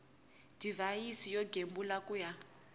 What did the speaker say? divhayisi yo gembula ku ya